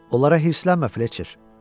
Onlara həvəslənmə Fletçer.